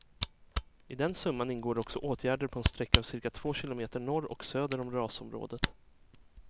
I den summan ingår också åtgärder på en sträcka av cirka två kilometer norr och söder om rasområdet.